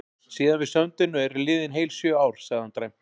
Síðan við sömdum eru liðin heil sjö ár, sagði hann dræmt.